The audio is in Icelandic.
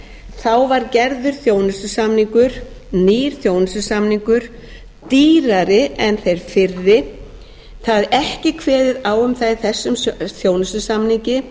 þá var gerður þjónustusamningur nýr þjónustusamningur dýrari en þeir fyrri það er ekki kveðið á um það í þessum þjónustusamningi